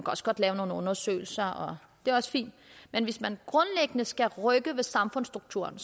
også godt lave nogle undersøgelser det er også fint men hvis man skal rykke grundlæggende ved samfundsstrukturen